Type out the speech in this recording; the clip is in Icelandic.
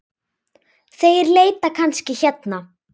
Þeir leita kannski hérna.